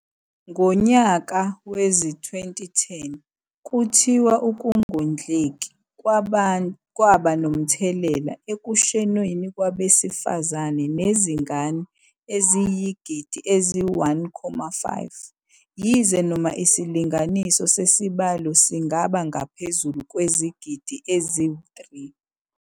Ngonyaka wezi-2010 kuthiwa ukungondleki kwaba nomthelela ekushoneni kwabesifazane nezingane eziyisigidi esi-1.5 yize noma isilinganiso sesibalo singaba ngaphezulu kwezigidi ezi-3 .